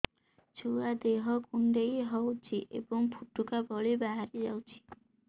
ଛୁଆ ଦେହ କୁଣ୍ଡେଇ ହଉଛି ଏବଂ ଫୁଟୁକା ଭଳି ବାହାରିଯାଉଛି